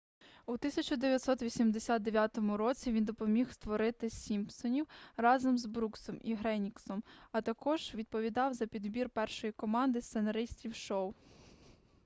у 1989 році він допоміг створити сімпсонів разом з бруксом і ґрейнінґом а також відповідав за підбір першої команди сценаристів шоу